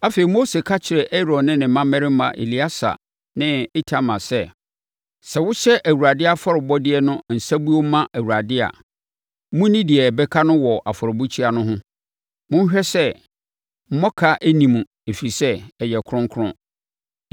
Afei, Mose ka kyerɛɛ Aaron ne ne mmammarima Eleasa ne Itamar sɛ, “Sɛ mohye Awurade afɔrebɔdeɛ no nsabuo ma Awurade a, monni deɛ ɛbɛka no wɔ afɔrebukyia no ho. Monhwɛ sɛ mmɔka nni mu ɛfiri sɛ ɛyɛ kronkron.